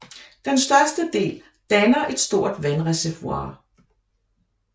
Den største del danner et stort vandreservoir